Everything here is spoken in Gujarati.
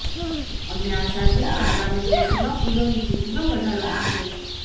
અમને આશા છે કે આગામી દિવસોમાં ફૂલોની ખેતીમાં વધારો થશે